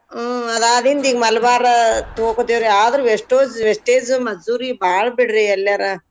ಹೂ ಅದಾದಿಂದ್ ಈಗ್ ಮಲ್ಬಾರ್ ತಗೋತ್ತೇವ್ರಿ ಆದ್ರ್ wastage wastage ಮಜೂರಿ ಬಾಳ್ ಬಿಡ್ರಿ ಎಲ್ಯಾರ.